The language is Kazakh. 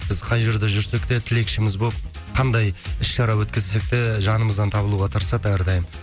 біз қай жерде жүрсек те тілекшіміз болып қандай іс шара өткізсек те жанымыздан табылуға тырысады әрдайым